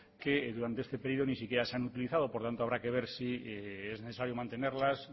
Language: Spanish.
que durante este periodo ni siquiera se han utilizado por lo tanto habrá que ver si es necesario mantenerlas